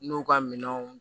N'u ka minɛnw